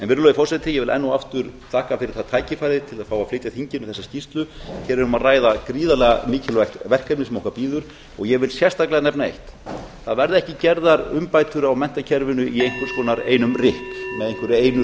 virðulegi forseti ég vil enn og aftur þakka fyrir það tækifæri að fá að flytja þinginu þessa skýrslu hér er um að ræða gríðarlega mikilvægt verkefni sem okkar bíður og ég vil sérstaklega nefna eitt það verða ekki gerðar umbætur á menntakerfinu í einhvers konar einum rykk með einhverju einu